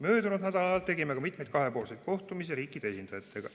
Möödunud nädalal tegime ka mitmeid kahepoolseid kohtumisi riikide esindajatega.